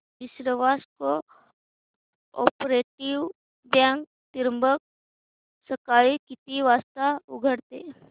विश्वास cooperative bank Trimbak सकाळी किती वाजता उघडते